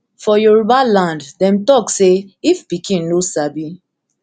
for yoruba land dem dey tok say if pikin no sabi